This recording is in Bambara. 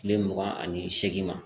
Kile mugan ani seegin ma